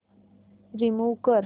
remove कर